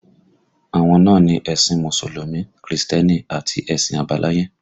Àwọn náà ni ẹ̀sìn Mùsùlùmí, Krìstẹ́nì àti ẹ̀sìn àbáláyé